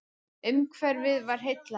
Umhverfið var heillandi.